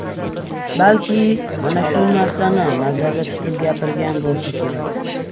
Balki mana shu narsani nazarda tutib gapirgan bo‘lsa kerak.